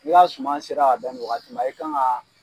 N'i ka suman sera ka bɛn nin wagati ma e kan ka